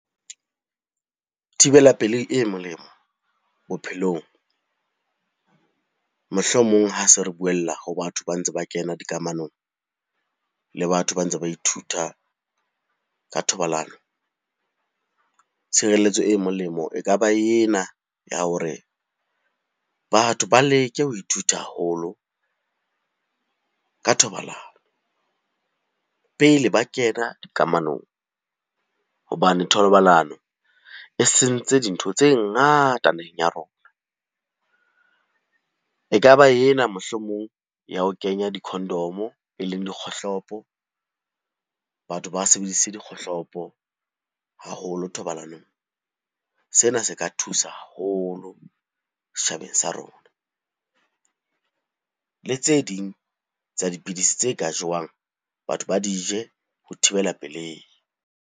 Thibela pelehi e molemo bophelong, mohlomong ha se re buella ho batho ba ntse ba kena dikamanong le batho ba ntse ba ithuta ka thobalano. Tshireletso e molemo e ka ba ena ya hore batho ba leke ho ithuta haholo ka thobalano pele ba kena dikamanong hobane thobalano e sentse dintho tse ngata naheng ya rona. E ka ba ena mohlomong ya ho kenya di-condom-o e leng dikgohlopo, batho ba sebedise dikgohlopo haholo thobalanong. Sena se ka thusa haholo setjhabeng sa rona. Le tse ding tsa dipidisi tse ka jewang, batho ba di je ho thibela pelei.